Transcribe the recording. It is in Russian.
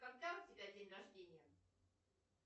когда у тебя день рождения